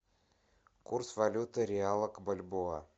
курс валюты реала к бальбоа